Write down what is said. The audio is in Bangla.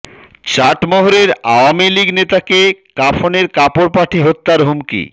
চাটমোহরে আওয়ামী লীগ নেতাকে কাফনের কাপড় পাঠিয়ে হত্যার হুমকি